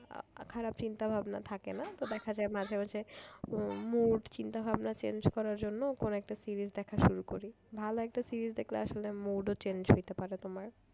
আহ খারাপ চিন্তা ভাবনা থাকে না তো দেখা যায় মাঝে মাঝে উম mood চিন্তা ভাবনা change করার জন্য কোন একটা series দেখা শুরু করি ভালো একটা series দেখলে আসলে mood ও change হইতে পারে তোমার।